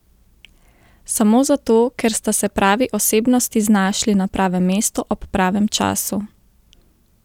Samo zato, ker sta se pravi osebnosti znašli na pravem mestu ob pravem času?